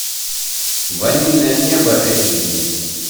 ванильное небо эйч ди